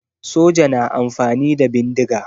Soja na amfani da bindiga